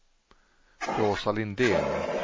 Rosa Lindén